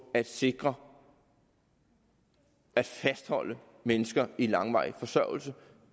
at sikre at fastholde mennesker i langvarig forsørgelse